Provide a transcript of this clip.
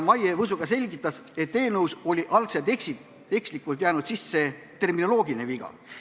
Maiga Võsu selgitas, et eelnõusse oli algul ekslikult jäänud sisse terminoloogiline viga.